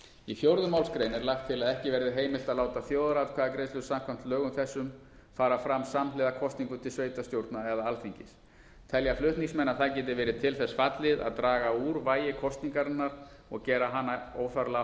í fjórðu málsgrein er lagt til að ekki verði heimilt að láta þjóðaratkvæðagreiðslu samkvæmt lögum þessum fara fram samhliða kosningum til sveitarstjórna eða alþingis telja flutningsmenn að það geti verið til þess fallið að draga úr vægi kosningarinnar og jafnvel gera hana óþarflega